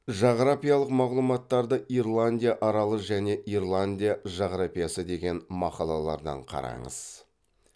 жағрапиялық мағлұматтарды ирландия аралы және ирландия жағрапиясы деген мақалалардан қараңыз